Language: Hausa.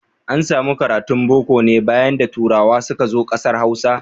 An samu karatun Boko ne bayan da turawa suka zo ƙasar Hausa.